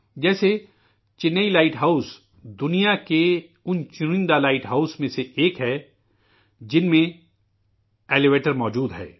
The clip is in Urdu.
جیسے، چنئی لائٹ ہاؤس دنیا کے ان چنندہ لائٹ ہاؤس میں سے ایک ہے، جس میں الیویٹر موجود ہے